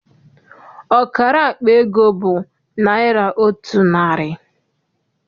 Ọkara akpa ego bụ naịra otu narị.